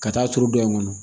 Ka taa turu dɔ in kɔnɔ